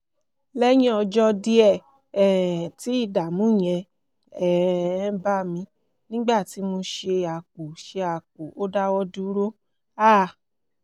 lẹ́yìn ọjọ́ díẹ̀ um tí ìdààmú yẹn um bá mi nígbà tí mo ṣe àpò ṣe àpò ó dáwọ́ dúró um